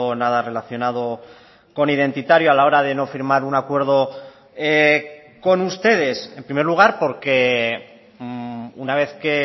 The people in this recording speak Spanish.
nada relacionado con identitario a la hora de no firmar un acuerdo con ustedes en primer lugar porque una vez que